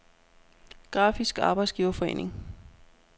Grafisk Arbejdsgiverforening